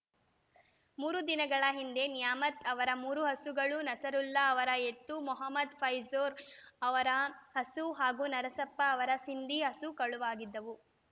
ಮೂರು ದಿನಗಳ ಹಿಂದೆ ನ್ಯಾಮತ್‌ ಅವರ ಮೂರು ಹಸುಗಳು ನಸರುಲ್ಲಾ ಅವರ ಎತ್ತು ಮೊಹಮ್ಮದ್‌ ಫೈರೋಜ್‌ ಅವರ ಹಸು ಹಾಗೂ ನರಸಪ್ಪ ಅವರ ಸಿಂಧಿ ಹಸು ಕಳವಾಗಿದ್ದವು